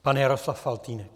Pan Jaroslav Faltýnek.